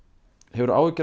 hefurðu áhyggjur